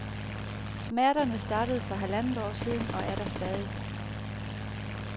Smerterne startede for halvandet år siden og er der stadig.